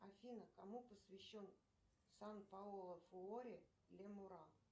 афина кому посвящен сан паоло фуори ле мура